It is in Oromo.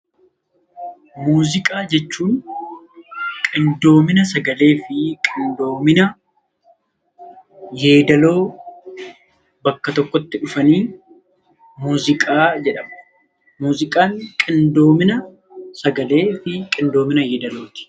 Muuziqaa jechuun qindoomina sagalee fi qidoomina yeedaloo bakka tokkotti dhufanii 'Muuziqaa' jedhamu. Muuziqaan qidoomina sagalee fi qindoomina yeedaloo ti.